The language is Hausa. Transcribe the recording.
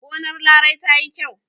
Gonar Larai ta yi kyau.